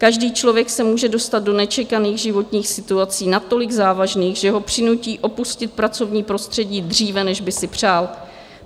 Každý člověk se může dostat do nečekaných životních situací natolik závažných, že ho přinutí opustit pracovní prostředí dříve, než by si přál.